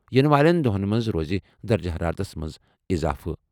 یِنہٕ والٮ۪ن دۄہَن منٛز روزِ درجہٕ حرارتَس منٛز اضافہٕ۔